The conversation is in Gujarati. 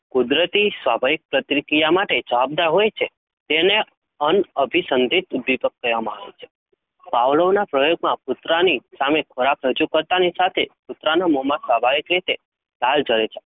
કુદરતી, સ્વભાવિક પ્રક્રિયા માટે, જવાન ના હોય છે? તેને અંસંધિત દીપક કેહવામા આવે છે? ભવલોનાપ્રયોગ માં કૂતરાની સામે ખોરાક રજુ કરતા સાથે કુતરાને મોહ માં સ્વભાવિક રીતે લાલ જલે છે?